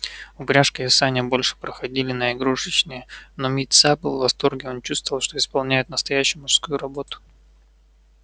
упряжка и сани больше проходили на игрушечные но митса был в восторге он чувствовал что исполняет настоящую мужскую работу